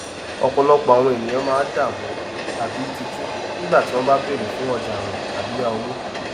ọpọlọpọ àwon èniyàn máa dààmú tàbí tíjú nígbà tí wọn bá bèrè fún ọjà áwìn tàbí yá owó